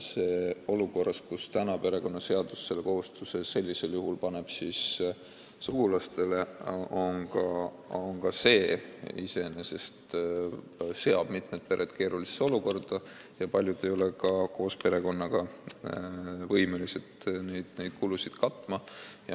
Perekonnaseadus paneb selle kohustuse sellisel juhul sugulastele, mis iseenesest seab mitmed pered keerulisse olukorda, aga paljud ei ole ka koos perekonnaga võimelised neid kulusid katma.